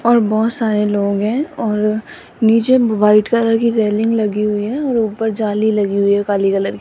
और बहोत सारे लोग हैं और नीचे वाइट कलर की रेलिंग लगी हुई है और ऊपर जाली लगी हुई है काली कलर --